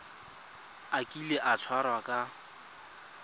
a kile a tshwarwa ka